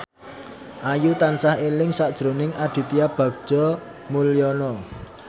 Ayu tansah eling sakjroning Aditya Bagja Mulyana